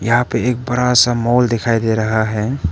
यहां पे एक बड़ा सा मॉल दिखाई दे रहा है।